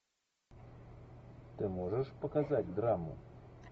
ты можешь показать драму